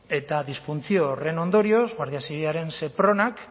eta disfuntzio horren ondorioz guardia zibilaren sepronak